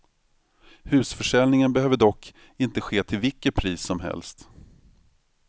Husförsäljning behöver dock inte ske till vilket pris som helst.